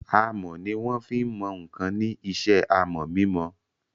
Amọ̀ ni wọ́n fí n mọ ǹkan ní isẹ́ amọ̀ mímọ